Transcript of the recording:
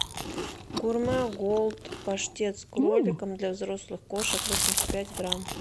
гурме голд паштет с кроликом для взрослых кошек восемьдесят пять грамм